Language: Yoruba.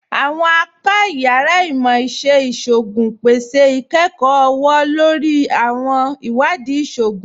Àwọn apà yàrá Imọ̀-iṣẹ̀ Ìṣògún pẹ̀sẹ̀ ikẹ́kọ ọwọ̀-lórí ni àwọn iwadii ìṣògún